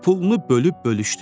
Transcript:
pulunu bölüb-bölüşdürdü.